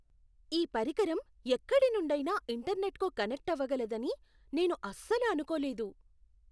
ఈ పరికరం ఎక్కడి నుండైనా ఇంటర్నెట్కు కనెక్ట్ అవగలదని నేను అసలు అనుకోలేదు.